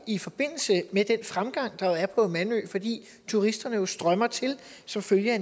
i forbindelse med den fremgang der er på mandø fordi turisterne jo strømmer til som følge af